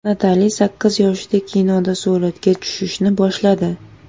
Natali sakkiz yoshida kinoda suratga tushishni boshladi.